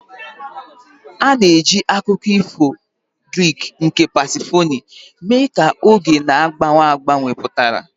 A na-eji akụkọ ifo Greek nke Pasifoni mee ka oge na-agbanwe agbanwe pụtara.